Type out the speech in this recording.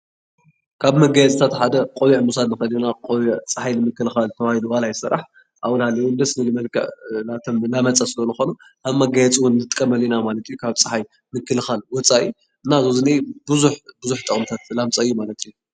ካብ መጋየፅታት ሓደ ቆቢዕ ምውሳድ ንክእል ኢና፡፡ ቆቢዕ ፀሓይ ንምክልካል ተባሂሉ ዋላ ይሰራሕ ኣብኡ እናሃለወ ደስ ዝብል መልክዕ ከም መጋየፂ ንጥቀመሉ ኢና፡፡ ከም መጋየፂ ንጥቀመሉ ኢላ ካብ ፀሓይ ምክልካል ወፃኢ እና እዚብዙሕ ጥቅምታት ኣለዎ፡፡